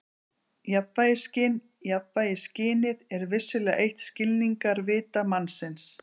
Jafnvægisskyn Jafnvægisskynið er vissulega eitt skilningarvita mannsins.